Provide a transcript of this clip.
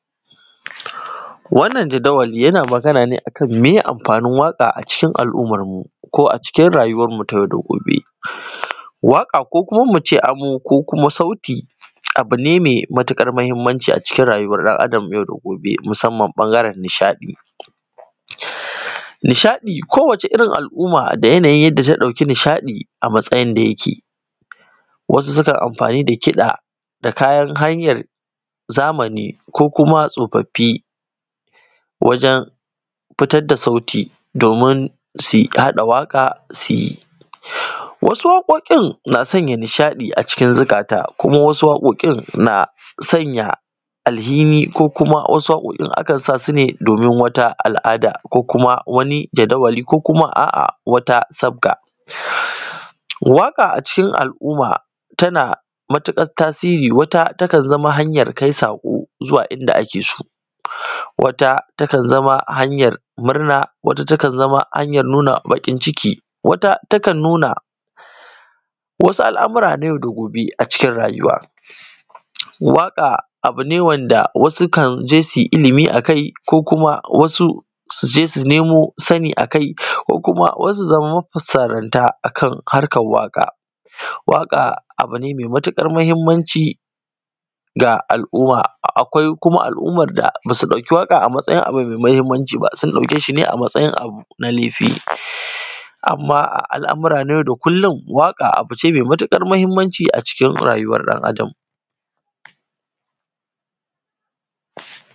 Wannan jadawali yana Magana ne me yee amfanin waƙa a cikin al`ummar mu ko a cikin rayuwan mu ta yau da gobe Waƙa ko kuma mu ce amo ko kuma sauti, abu ne mai matukar mahimmanci a cikin rayuwar ɗan Adam ta yau da gobe musamman ɓangaren nishaɗi Nishaɗi ko wacce irin al`umma da yanayin yadda ta ɗauki a matsayin da yake wasu sukan amfani da kiɗa da kayan hanyar zamani ko kuma tsofaffi wajen fitat da sauti domin si haɗa waƙa si wasu waƙoƙin na sanya nishaɗi ciki zikata kuma wasu waƙoƙin naa sanya alhini ko kuma wasu waƙoƙin akan sa sune domin wata al`ada ko kuma wani jadawali ko kuma a a wata sabga waƙa a cikin al`umma tana matuƙar tasiri wata takan zama hanyar kai saƙo zuwa inda ake so wata takan zama hanyar murna, wata takan zama hanyar nuna baƙin ciki, wata takan nuna wasu al`amura na yau da gobe a cikin rayuwa Waƙa abu ne wanda wasu su je su ilimi a kai ko kuma wasu su je su nemo sani a kai ko kuma wasu su zama mafusanranta akan harkan waƙa Waƙa abu ne mai matuƙar muhimmanci ga al`umma, akwai kuma al`umma ba su ɗauki waƙa a matsayin abu mai muhimmanci ba, sun ɗauke shi ne a matsayin abu na laifi Amma a al amura na yau da kullun waƙa abu ce mai matuƙar muhimmanci a cikin rayuwar ɗan Adam